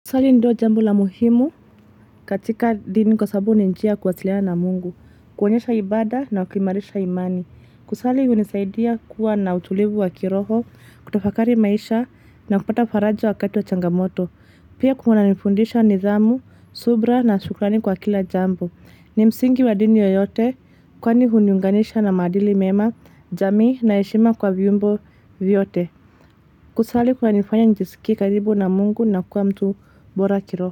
Kusali ndio jambo la muhimu katika dini kwa sababu ni njia ya kuwasiliana na mungu, kuonyesha ibaada na kuimarisha imani. Kusali hunisaidia kuwa na utulivu wa kiroho, kutafakari maisha na kupata faraja wakati wa changamoto. Pia kunanifundisha nidhamu, subira na shukrani kwa kila jambo. Ni msingi wa dini yoyote kwani huniunganisha na maadili mema, jamii na heshima kwa viumbe vyote. Kusali kunanifanya nijisikie karibu na Mungu na kuwa mtu bora kiroho.